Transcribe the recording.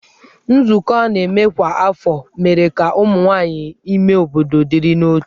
Nzukọ a na-enwe kwa afọ mere ka ụmụ nwaanyị ime obodo dịrị n'otu.